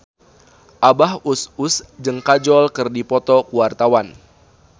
Abah Us Us jeung Kajol keur dipoto ku wartawan